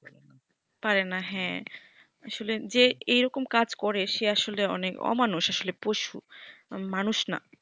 পারে না হ্যা আসলে যে এইরকম কাজ করে সে আসলে অনেক অমানুষ আসলে পশু মানুষ না